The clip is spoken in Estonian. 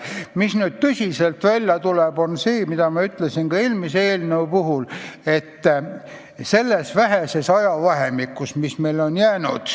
Mis aga välja tuleb, on see, mida ma ütlesin ka eelmise eelnõu arutelul.